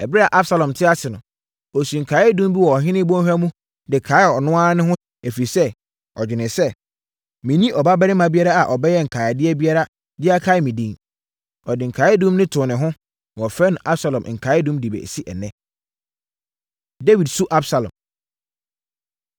Ɛberɛ a Absalom te ase no, ɔsii nkaeɛdum bi wɔ ɔhene bɔnhwa mu de kaee ɔno ara ne ho, ɛfiri sɛ, ɔdwenee sɛ, “Menni ɔbabarima biara a ɔbɛyɛ nkaedeɛ biara de akae me din.” Ɔde nkaeɛdum no too ne ho, na wɔfrɛ no Absalom Nkaeɛdum de bɛsi ɛnnɛ. Dawid Su Absalom